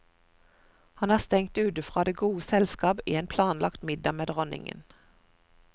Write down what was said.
Han er stengt ute fra det gode selskap i en planlagt middag med dronningen.